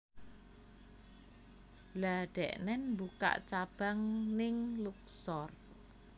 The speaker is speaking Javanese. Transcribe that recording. Lha deknen mbukak cabang ning Luxor